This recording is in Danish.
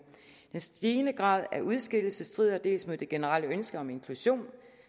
den stigende grad af udskillelse strider dels mod det generelle ønske om inklusion